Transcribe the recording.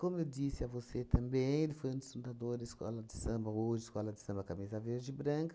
eu disse a você também, ele foi um dos fundadores escola de samba, hoje escola de samba Cabeça Verde e Branca,